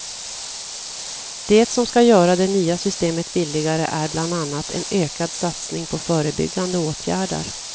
Det som ska göra det nya systemet billigare är bland annat en ökad satsning på förebyggande åtgärder.